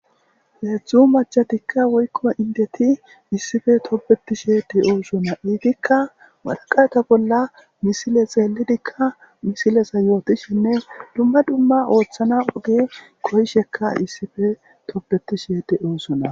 Heedzdzu machatikka woykko indeti issife tobeti sheede oosona iitikka waraqata bolla misile xeellidikka misilesa yootishenne dumma dumma ooththana oge koyishekka issipe tobeti sheede oossona.